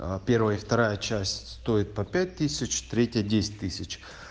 а первая и вторая часть стоит по пять тысяч третья десять тысяч